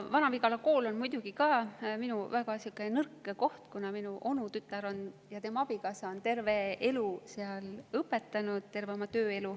Vana-Vigala kool on muidugi ka minu väga nõrk koht, kuna minu onutütar ja tema abikaasa on terve oma tööelu seal õpetanud.